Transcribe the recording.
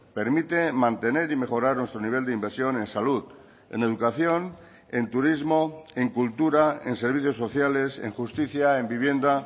permite mantener y mejorar nuestro nivel de inversión en salud en educación en turismo en cultura en servicios sociales en justicia en vivienda